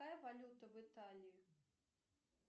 какая валюта в италии